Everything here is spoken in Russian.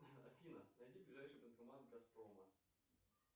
афина найди ближайший банкомат газпрома